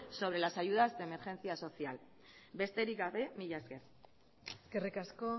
sobre las ayudas de emergencia social besterik gabe mila esker eskerrik asko